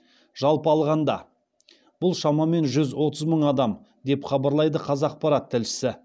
жалпы алғанда бұл шамамен жүз отыз мың адам деп хабарлайды қазақпарат тілшісі